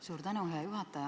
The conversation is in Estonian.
Suur tänu, hea juhataja!